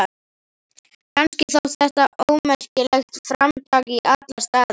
Kannski þótt þetta ómerkilegt framtak í alla staði.